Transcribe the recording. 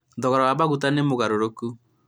thogora ma maguta ti mũgarũrũku